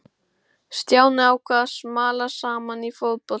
Stjáni ákvað að smala saman í fótboltalið.